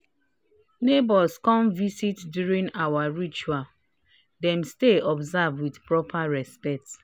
neighbors come visit during our ritual dem stay observe with proper respect